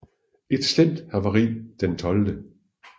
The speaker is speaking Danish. Efter et slemt havari den 12